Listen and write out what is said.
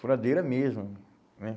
Furadeira mesmo, né?